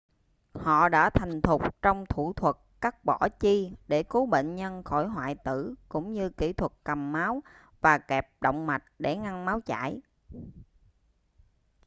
họ đã thành thục trong thủ thuật cắt bỏ chi để cứu bệnh nhân khỏi hoại tử cũng như kĩ thuật cầm máu và kẹp động mạch để ngăn máu chảy